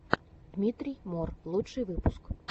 дмитрий мор лучший выпуск